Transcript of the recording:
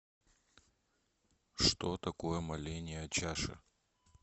что такое моление о чаше